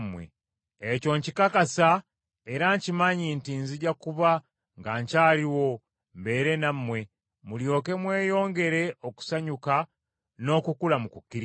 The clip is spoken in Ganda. Ekyo nkikakasa era nkimanyi nti nzija kuba nga nkyaliwo mbeere nammwe, mulyoke mweyongere okusanyuka n’okukula mu kukkiriza,